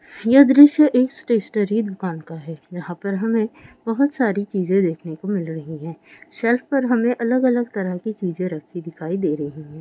यह द्रश्य एक स्टेशनरी दुकान का है यहां पर हमें बहुत सारी चीजे देखने को मिल रही है शेल्फ पर हमें अलग-अलग तरह कि चीजे रखी दिखाई दे रही है।